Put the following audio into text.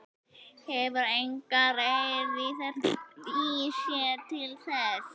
Hefur enga eirð í sér til þess.